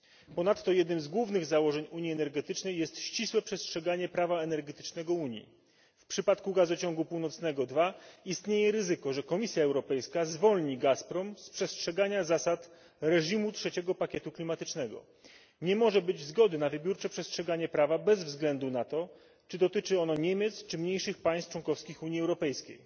Ponadto jednym z głównych założeń unii energetycznej jest ścisłe przestrzeganie prawa energetycznego Unii. W przypadku Gazociągu Północnego 2 istnieje ryzyko, że Komisja Europejska zwolni Gazprom z przestrzegania zasad trzeciego pakietu klimatycznego. Nie może być zgody na wybiórcze przestrzeganie prawa, bez względu na to czy dotyczy ono Niemiec, czy mniejszych państw członkowskich Unii Europejskiej.